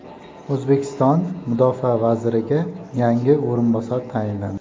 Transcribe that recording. O‘zbekiston mudofaa vaziriga yangi o‘rinbosar tayinlandi.